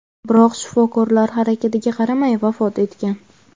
biroq shifokorlar harakatiga qaramay vafot etgan.